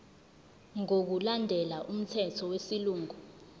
ngokulandela umthetho wesilungu